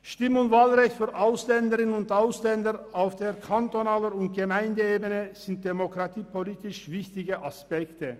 Stimm- und Wahlrecht für Ausländerinnen und Ausländer auf kantonaler und Gemeindeebene sind demokratiepolitisch wichtige Aspekte.